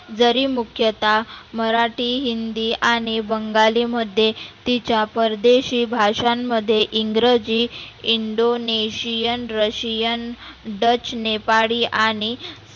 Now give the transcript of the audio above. जरी मुख्य ता मराठी, हिंदी आणि बंगाली मध्ये तिच्या परदेशी भाषां मध्ये इंग्रजी, इंडोनेशियन, रशियन, डच, नेपाळी आणि